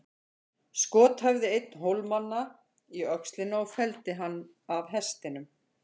Skot hæfði einn Hólamanna í öxlina og felldi hann af hestinum.